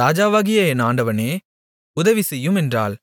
ராஜாவாகிய என் ஆண்டவனே உதவி செய்யும் என்றாள்